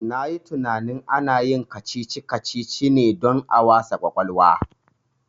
Na yi tinanin ana yin kacici kacici ne don a wasa kwakwalwa